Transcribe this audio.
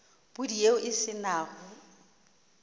pudi yeo e se nago